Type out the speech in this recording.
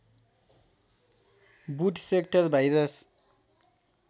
boot sector virus